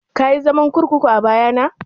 Kayi zaman kurkuku a baya na?